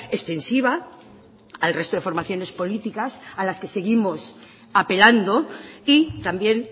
extensiva al resto de formaciones políticas a las que seguimos apelando y también